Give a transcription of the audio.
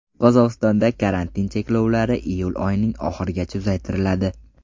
Qozog‘istonda karantin cheklovlari iyul oyining oxirigacha uzaytiriladi.